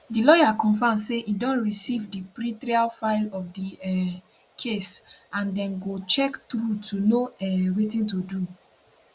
di lawyer confam say im don receive di pretrial file of di um case and dem go check through to know um wetin to do